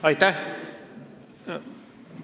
Aitäh!